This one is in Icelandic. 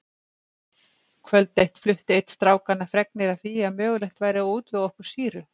Kvöld eitt flutti einn strákanna fregnir af því að mögulegt væri að útvega okkur sýru.